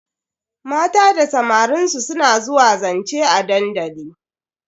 Mata da samarin su suna zuwa zance a dandali.